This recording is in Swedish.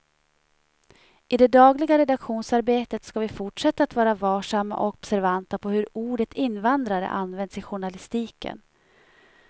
I det dagliga redaktionsarbetet ska vi fortsätta att vara varsamma och observanta på hur ordet invandrare används i journalistiken.